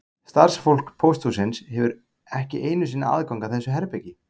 Starfsfólk pósthússins hefur ekki einu sinni aðgang að þessu herbergi